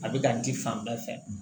A bɛ ka di fan bɛɛ fɛ